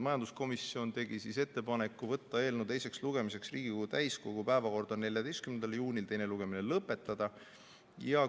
Majanduskomisjon tegi ettepaneku võtta eelnõu teiseks lugemiseks Riigikogu täiskogu päevakorda 14. juunil ja teine lugemine lõpetada.